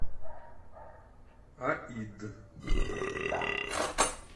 аид